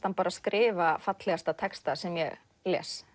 hann skrifa fallegasta texta sem ég les